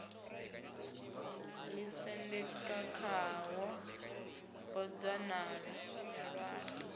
ḓisendeka khawo bodzanḓala yo ṅwalwa